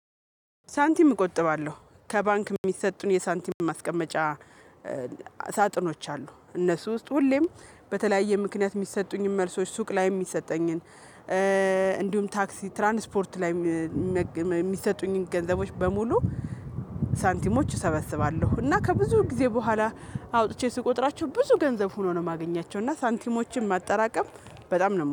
ሳንቲም እቆጥባለሁ ከባንክ የሚሰጡን የሳንቲም ማስቀመጫ። ሳጥኖች አሉ እነሱ ውስጥ ሁሌም በተለያየ ምክንያት የሚሰጡኝን መልሶች ሱቅ ላይም የሚሰጠኝን እንዲሁም ታክሲ ትራንስፖርት ላይ የሚሰጡኝን ገንዘቦች በሙሉ ሳንቲሞች እሰበስባለሁ እና ከብዙ ጊዜ በኋላ አውጥቼ ስቆጥራቸው ብዙ ገንዘብ ሆኖ ነው የማገኛቸው። እና ሳንቲሞችን ማጠራቀም በጣም ነው